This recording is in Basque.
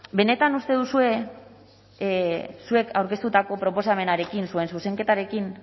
benetan uste duzue zuek aurkeztutako proposamenarekin zuen zuzenketarekin